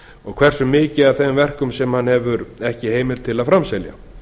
og hversu mikið af þeim verkum hann hefur ekki heimild til að framselja